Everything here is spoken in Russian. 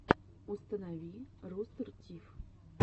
установи рустер тиф